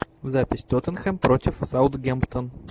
запись тоттенхэм против саутгемптон